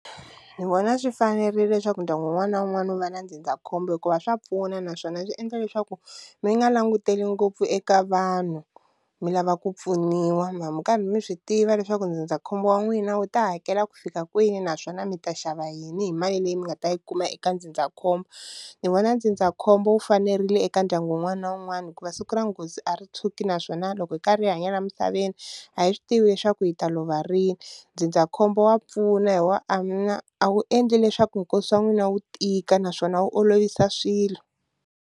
Ni vona swi fanerile leswaku ndyangu wun'wana na wun'wana wu va na ndzindzakhombo hikuva swa pfuna naswona swi endla leswaku mi nga languteli ngopfu eka vanhu mi lava ku pfuniwa hambi mi karhi mi swi tiva leswaku ndzindzakhombo wa n'wina wu ta hakela ku fika kwini naswona mi ta xava yini hi mali leyi mi nga ta yi huma eka ndzindzakhombo, ni vona ndzindzakhombo wu fanerile eka ndyangu wun'wana na wun'wana hikuva siku ra nghozi a ri tshwuki naswona loko hi karhi hi hanya la emisaveni a hi swi tivi leswaku hi ta lova rini, ndzindzakhombo wa pfuna hi wa a wu endli leswaku nkosi wa n'wina wu tika naswona wu olovisa swilo.